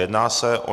Jedná se o